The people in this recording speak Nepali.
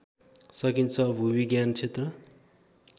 सकिन्छ भूविज्ञान क्षेत्र